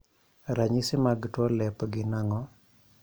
. Ranyisi mag tuo lep gin ang'o?